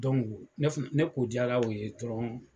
Don ne fɛnɛn ne kojara u ye dɔrɔn